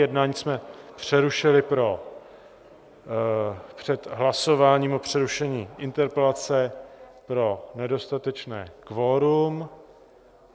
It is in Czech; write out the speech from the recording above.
Jednání jsme přerušili před hlasováním o přerušení interpelace pro nedostatečné kvorum.